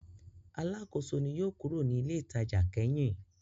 Alákòóso ni yóò kúrò ní ilé-ìtajà kẹ́yìn.